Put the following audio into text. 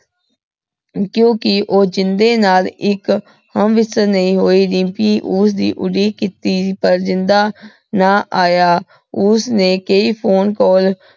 ਕਿਉਕਿ ਊ ਜਿੰਦੇ ਨਾਲ ਏਇਕ ਹਮ੍ਬਿਸ੍ਟਰ ਨਈ ਹੋਈ ਦਿਮ੍ਪੀ ਉਸਦੀ ਉਡੀਕ ਕੀਤੀ ਸੀ ਪਰ ਜਿੰਦਾ ਨਾ ਆਯਾ। ਓਸਨੇ ਕਈ phone call